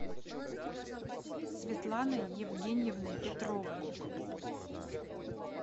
светланой евгеньевной петровой